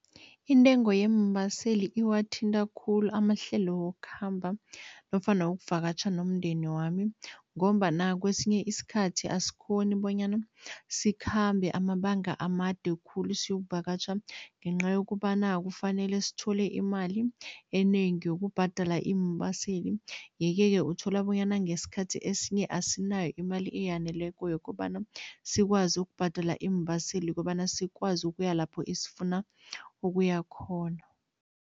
Intengo yeembaseli iwathinta khulu amahlelo wokukhamba nofana wokuvakatjha nomndeni wami ngombana kwesinye isikhathi, asikghoni bonyana sikhambe amabanga amade khulu siyokuvakatjha ngenca yokobana kufanele sithole imali enengi yokubhadala iimbaseli yeke-ke uthola bonyana ngesikhathi esinye asinayo imali eyaneleko yokobana sikwazi ukubhadela iimbaseli, ukobana sikwazi ukuya lapho esifuna ukuya khona.